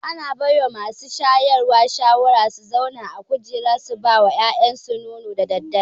Ana bawa masu shayarwa shawara su zauna a kujera su bawa yaransu nono da daddare